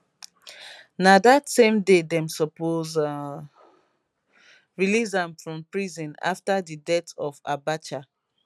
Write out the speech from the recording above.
na dat same day dem suppose release am from prison afta di death of abacha